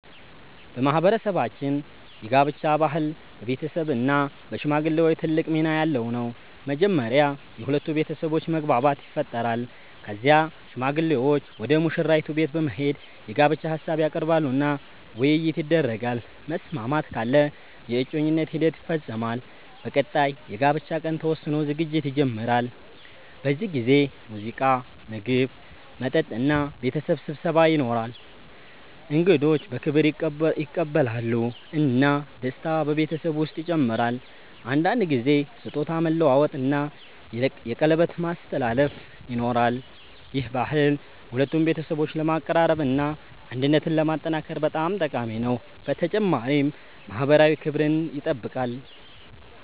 በማህበረሰባችን የጋብቻ ባህል በቤተሰብ እና በሽማግሌዎች ትልቅ ሚና ያለው ነው። መጀመሪያ የሁለቱ ቤተሰቦች መግባባት ይፈጠራል። ከዚያ ሽማግሌዎች ወደ ሙሽራይቱ ቤት በመሄድ የጋብቻ ሀሳብ ያቀርባሉ እና ውይይት ይደረጋል። መስማማት ካለ የእጮኝነት ሂደት ይፈጸማል። በቀጣይ የጋብቻ ቀን ተወስኖ ዝግጅት ይጀመራል። በዚህ ጊዜ ሙዚቃ፣ ምግብ፣ መጠጥ እና ቤተሰብ ስብሰባ ይኖራል። እንግዶች በክብር ይቀበላሉ እና ደስታ በቤተሰቡ ውስጥ ይጨምራል። አንዳንድ ጊዜ ስጦታ መለዋወጥ እና የቀለበት ማስተላለፍ ይኖራል። ይህ ባህል ሁለቱን ቤተሰቦች ለማቀራረብ እና አንድነትን ለማጠናከር በጣም ጠቃሚ ነው፣ በተጨማሪም ማህበራዊ ክብርን ይጠብቃል።